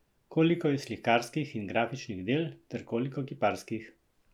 Koliko je slikarskih in grafičnih del ter koliko kiparskih?